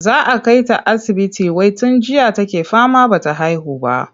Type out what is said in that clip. Za a kai ta asibiti wai tun jiya take fama ba ta haihu ba.